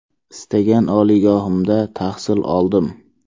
Istagan oliygohimda tahsil oldim.